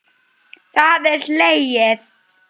Það er hlegið.